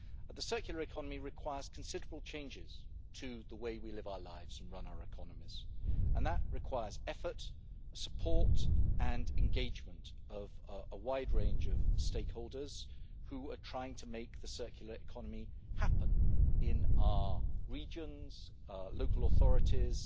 The circular economy requires considerable changes to the way we live our lives and run our economies, and that requires the effort, support and engagement of a wide range of stakeholders who are trying to make the circular economy happen in all regions, local authorities